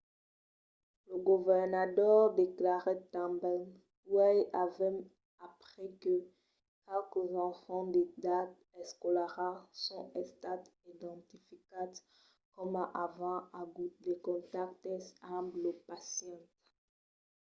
lo governador declarèt tanben uèi avèm aprés que qualques enfants d'edat escolara son estats identificats coma avent agut de contactes amb lo pacient.